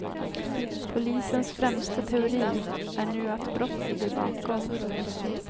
Polisens främsta teori är nu att brott ligger bakom.